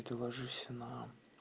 и ты ложишься на